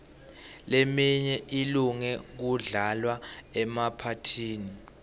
leminye ilunge kudlalwa emaphathini